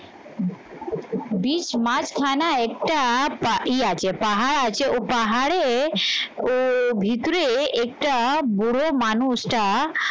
বিষ মাছ খানা একটা আছে, পাহাড় আছে ও পাহাড়ে ভিতরে একটা বুড়ো মানুষটা